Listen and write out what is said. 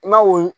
I ma wo